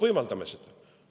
Võimaldame seda!